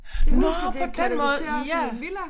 Nåh på den måde ja